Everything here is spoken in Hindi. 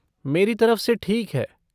मेरी तरफ से ठीक है।